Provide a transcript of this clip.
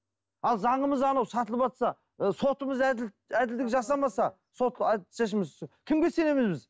ал заңымыз анау сатылыватса ы сотымыз әділдік жасамаса сот кімге сенеміз біз